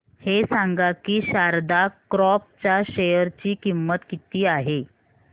हे सांगा की शारदा क्रॉप च्या शेअर ची किंमत किती आहे